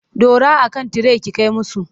Dora a kan tire ki kai musu!